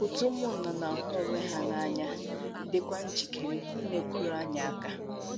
Òtù ụmụnna na - ahụ onwe ha n’anya dịkwa njikere inyekwuru anyị aka.